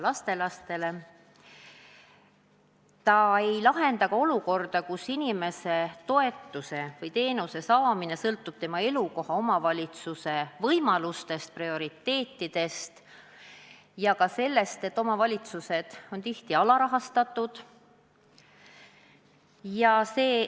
See ei lahenda ka olukorda, kus toetuse või teenuse saamine sõltub inimese elukoha omavalitsuse võimalustest – ka sellest, et omavalitsused on tihti alarahastatud – ja prioriteetidest.